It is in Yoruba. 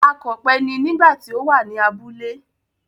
Akọ̀pẹ ni nígbà tí ó wà ní abúlé.